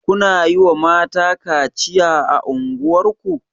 Kuna yiwa mata kaciya a unguwar ku.